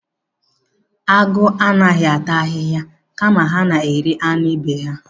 Agụ anaghị ata ahịhịa kama ha na-eri anụ ibe ha.